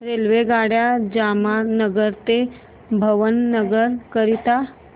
रेल्वेगाड्या जामनगर ते भावनगर करीता